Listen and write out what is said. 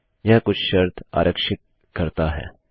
यह कुछ शर्त आरक्षित करता है